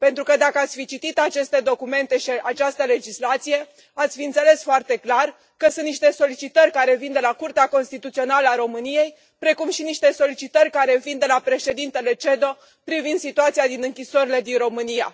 Pentru că dacă ați fi citit aceste documente și această legislație, ați fi înțeles foarte clar că sunt niște solicitări care vin de la Curtea Constituțională a României, precum și niște solicitări care vin de la președintele CEDO privind situația din închisorile din România.